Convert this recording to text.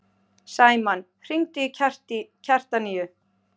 Sæmann, hringdu í Kjartaníu.